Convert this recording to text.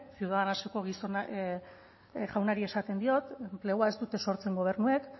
ciudadanoseko jaunari esaten diot enplegua ez dute sortzen gobernuek